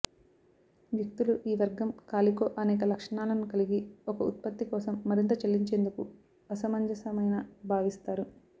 వ్యక్తులు ఈ వర్గం కాలికో అనేక లక్షణాలను కలిగి ఒక ఉత్పత్తి కోసం మరింత చెల్లించేందుకు అసమంజసమైన భావిస్తారు